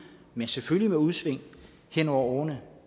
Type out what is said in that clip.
men selvfølgelig med udsving hen over årene